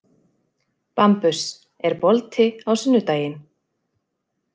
Bambus, er bolti á sunnudaginn?